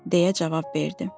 deyə cavab verdi.